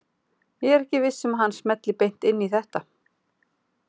Ég er ekki viss um að hann smelli beint inn í þetta.